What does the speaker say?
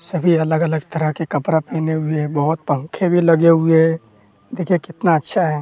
सभी अलग अलग तरह के कपड़ा पहने हुए है बहोत पंखे भी लगे हुए है। देखिए कितना अच्छा है।